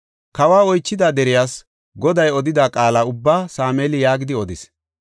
Kawo oychida deriyas Goday odida qaala ubbaa Sameeli yaagidi odis.